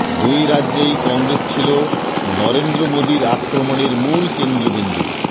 দুই রাজ্যেই কংগ্রেস ছিল নরেন্দ্র মোদীর আক্রমণের মূল কেন্দ্রবিন্দু